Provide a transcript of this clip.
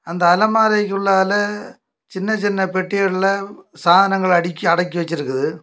அந்த அலமாரிக்குள்ளா சின்ன சின்ன பெட்டிக்கல்ல சாதனங்கள் அடிக்கி அடக்கி வெச்சிருக்குது.